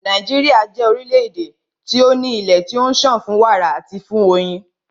Nàíjíríà jẹ́ orílẹ̀-èdè tí o ní ilé tí ó ń sàn fún wàrà àti fún oyin.